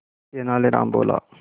तेनालीराम बोला